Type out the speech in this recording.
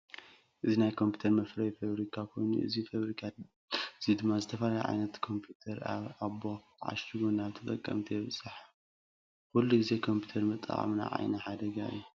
እዚ ናይ ኮምፒተር መፍረይ ፋውሪካ ኮይኑ እዚ ፋብሪካ እዚ ድማ ዝተፈላለዩ ዓይነታት ኮምፒተር ኣብ ኣባኾ ዓሺጉ ናብ ተጠቀምቲ የብፅሕ። ኩሉ ግዜ ኮምፒተር ምጥቃም ንዓይኒ ሓደጋ እዩ።